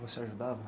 Você ajudava?